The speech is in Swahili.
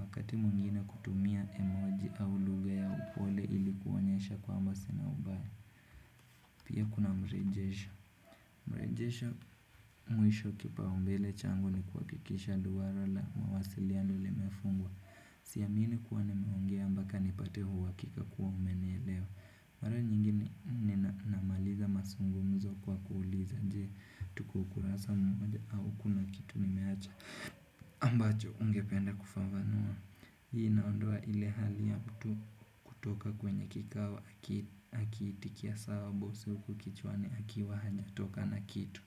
Wakati mwingine kutumia emoji au lugha ya upole ili kuonyesha kwamba sina ubaya. Pia kuna mrejesho. Mrejesho mwisho kipa umbele changu ni kuhakikisha duara la mawasiliano limefungwa. Siamini kuwa nimeongea mpaka nipate uhakika kuwa umenielewa. Mara nyingine ninamaliza mazungumzo kwa kuuliza je tuko kurasa moja au kuna kitu nimeacha ambacho ungependa kufafanua. Hii inaondoa ile hali ya mtu kutoka kwenye kikao aki akiitikia sawa boss huku kichwani akiwa hajatoka na kitu.